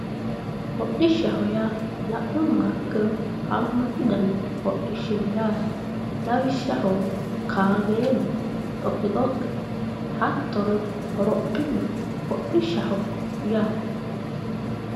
hodhishshaho yaa la'nummoha ikkiro haammatu gari hodhishshi no yaate, lawishshaho, kaameelu, dhoqqidhoqqe, hattono hrophillu hodhishshaho yaate.